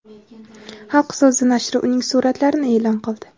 "Xalq so‘zi" nashri uning suratlarini e’lon qildi.